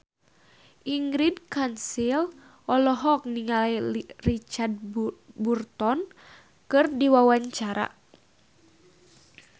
Ingrid Kansil olohok ningali Richard Burton keur diwawancara